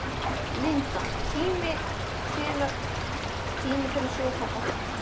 Linda: Tími til kominn að fá sýningarsal?